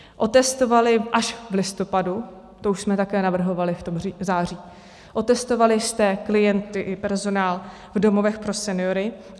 Otestovali až v listopadu - to už jsme také navrhovali v tom září - otestovali jste klienty i personál v domovech pro seniory.